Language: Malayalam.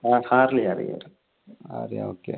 ആ ഹാർലി അറിയാം അറിയാം.